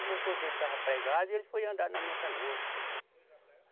O motor dele estava pregado e ele foi andar na minha canoa.